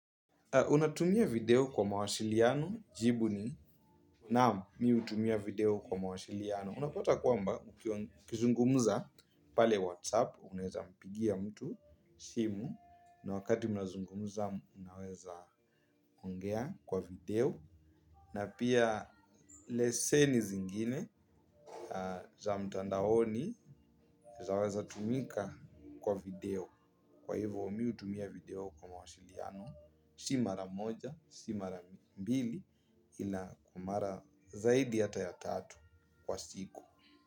Unatumia video kwa mawasiliano jibu ni naam mimi hutumia video kwa mawasiliano. Unapata kwamba ukizungumuza pale whatsapp, unaweza mpigia mtu simu, na wakati mnazungumuza mnaweza ongea kwa video. Na pia leseni zingine za mtandaoni zaweza tumika kwa video. Kwa hivyo mimi hutumia video kwa mawasiliano si mara moja, si mara mbili ila kwa mara zaidi hata ya tatu kwa siku.